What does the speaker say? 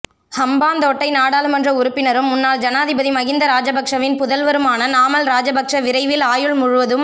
ஹம்பாந்தோட்டை நாடாளுமன்ற உறுப்பினரும் முன்னாள் ஜனாதிபதி மஹிந்த ராஜபக்ஷவின் புதல்வருமான நாமல் ராஜபக்ஷ விரைவில் ஆயுள் முழுவதும்